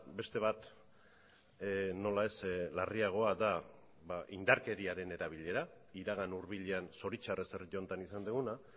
beste bat nola ez larriagoa da indarkeriaren erabilera iragan hurbilean zoritxarrez herri honetan izan duguna